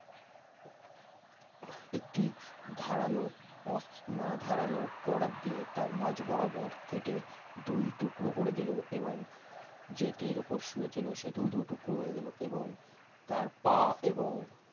একটি ধারালো অস্ত্র না ধারালো করাত দিয়ে তার মাঝ বরাবর কেটে দুই টুকরো করে দিল। এবং যেটির ওপর শুয়ে ছিল সেটিও দু টুকরো হয়ে গেল এবং তার পা এবং